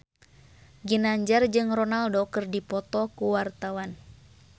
Ginanjar jeung Ronaldo keur dipoto ku wartawan